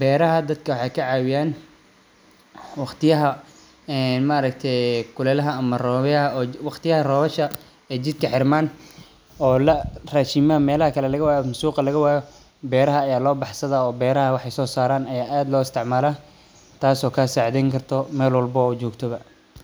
beeraha dadka waxay kacawiyaan waqtiyaha een maarkatay kulelaha ama roobyaha waqtiyaha robasha jidka xirmaan rashimaha meelaha kala lagawayo ama suga lagawayo beraha aya lobaxsadha beeraha ayey wax so saran aya aad loo isticmala taaso kasacidheyni karto meel walba adjogta ba.